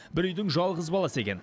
бір үйдің жалғыз баласы екен